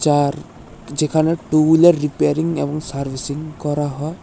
আর যেখানে টুল আর রিপেয়ারিং এবং সার্ভিসিং করা হয়।